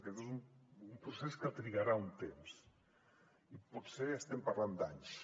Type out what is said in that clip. aquest és un procés que trigarà un temps i potser estem parlant d’anys